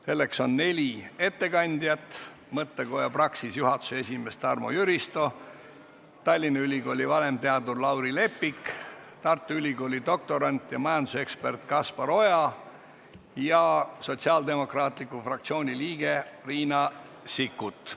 Meil on neli ettekandjat: mõttekoja Praxis juhatuse esimees Tarmo Jüristo, Tallinna Ülikooli vanemteadur Lauri Leppik, Tartu Ülikooli doktorant ja majandusekspert Kaspar Oja ning Sotsiaaldemokraatliku Erakonna fraktsiooni liige Riina Sikkut.